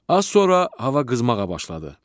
Az sonra hava qızmağa başladı.